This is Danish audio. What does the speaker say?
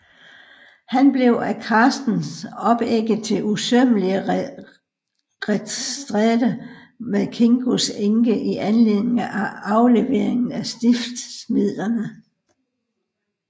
Han blev af Carstens opægget til usømmelig retstrætte med Kingos enke i anledning af afleveringen af stiftsmidlerne